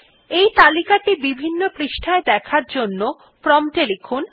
এই তালিকা টি বিভিন্ন পৃষ্ঠায় দেখার জন্য প্রম্পট এ লিখুন